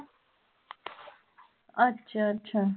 ਅੱਛਾ ਅੱਛਾ